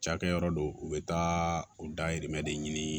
Cakɛyɔrɔ don u be taa u dahirimɛ de ɲini